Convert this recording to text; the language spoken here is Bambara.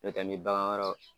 N'o tɛ mi bagan wɛrɛw